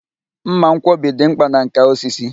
Mma nkwọbi dị mkpa na nkà osisi.